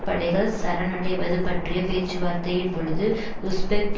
படைகள் சரணடைவது பற்றிய பேச்சுவார்த்தையின் பொழுது உஸ்பெக்